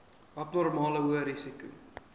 abnormale hoë risiko